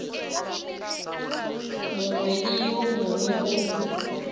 mongwe le yo mongwe go